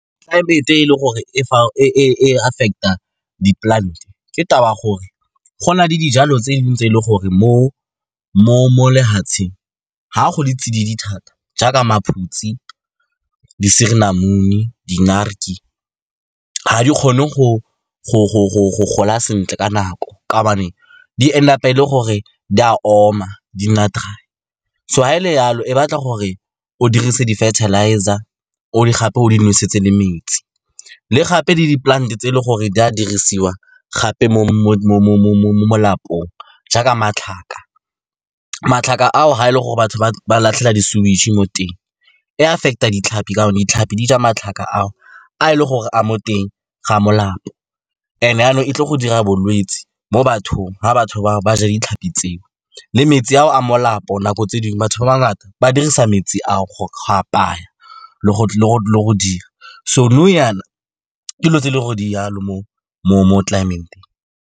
Tlelaemete e e leng gore e affect-a di-plant-e ke taba ya gore gona le dijalo tse dingwe tse e leng gore mo lefatsheng, ga go le tsididi thata, jaaka maphutse, di suurlemoen, di-naartjie, ga di kgone go gola sentle ka nako ka gobane di end up-a e le gore di a oma, di nna dry-e. So ga e le jalo, e batla gore o dirise di-fertilizer gape o di nosetse le metsi. Le gape le di-plant-e tse e le gore di a dirisiwa gape mo molapong, jaaka matlhaka, matlhaka ao ga e le gore batho ba latlhela di-sewage mo teng, e affect-a ditlhapi, ka gonne ditlhapi di ja matlhaka a a e leng gore a mo teng ga molapo, and jaanong e tle go dira bolwetse mo bathong ga batho bao ba ja ditlhapi tseo le metsi a o a molapo. Nako tse dingwe, batho ba ba ngata, ba dirisa metsi a o go apaya le go dira so nou jaana, dilo tse e leng gore di jalo mo climate.